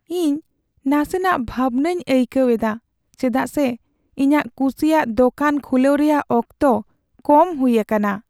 ᱤᱧ ᱱᱟᱥᱮᱱᱟᱜ ᱵᱷᱟᱵᱱᱟᱧ ᱟᱹᱭᱠᱟᱹᱣ ᱮᱫᱟ ᱪᱮᱫᱟᱜ ᱥᱮ ᱤᱧᱟᱹᱜ ᱠᱩᱥᱤᱭᱟᱜ ᱫᱚᱠᱟᱱ ᱠᱷᱩᱞᱟᱣ ᱨᱮᱭᱟᱜ ᱚᱠᱛᱚ ᱠᱚᱢ ᱦᱩᱭ ᱟᱠᱟᱱᱟ ᱾